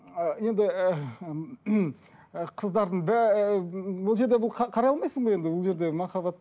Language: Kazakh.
енді і і қыздардың бұл жерде бұл қарай алмайсың ғой енді бұл жерде махаббат